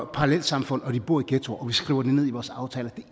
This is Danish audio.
parallelsamfund der bor i ghettoer og vi skriver det ned i vores aftaler